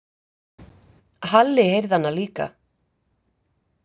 Halli heyrði hana líka.